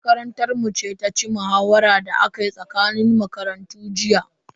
Makarantar mu ce ta ci muhawaran da aka yi tsakanin makarantu jiya.